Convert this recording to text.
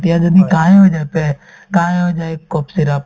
এতিয়া যদি কাঁহে হৈ যায় পে কাঁহে হৈ যায় cough syrup